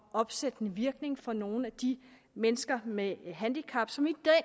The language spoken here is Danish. opsættende virkning for nogle af de mennesker med handicap som i